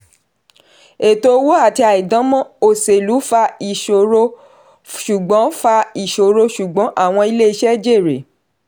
ẹ̀tọ́ owó àti àìdáǹmọ̀ oselú fa ìṣòro ṣùgbọ́n fa ìṣòro ṣùgbọ́n àwọn ilé-iṣẹ́ jèrè.